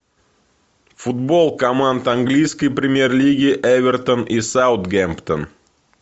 футбол команд английской премьер лиги эвертон и саутгемптон